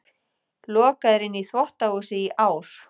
Lokaður inni í þvottahúsi í ár